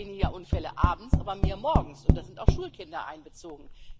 Es gibt jetzt weniger Unfälle abends, aber mehr morgens, und da sind auch Schulkinder einbezogen.